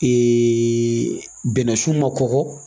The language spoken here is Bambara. bɛnɛ sun ma kɔgɔ